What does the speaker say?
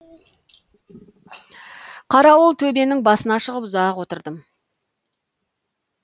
қарауыл төбенің басына шығып ұзақ отырдым